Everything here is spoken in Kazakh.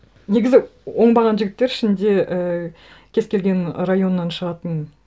негізі оңбаған жігіттер ішінде і кез келген районнан шығатын